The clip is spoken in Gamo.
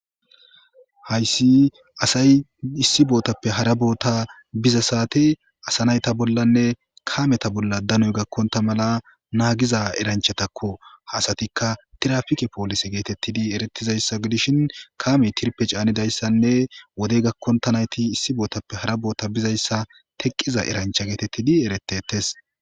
Hayssi asay issi bootappe hara boota biza saate asa nayta bollanne kaameta bolla danoy gakkonta mala naagiza eranchatakko haasatikka tirafike poolise geetettidi erettizayssa godishin kaame tirpe caanidayssanne wodey gakkonta nayti issi bootappe hara boota bizayssa teqqiza erancha geetettidi eretetes